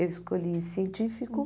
Eu escolhi científico.